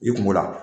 I kungo la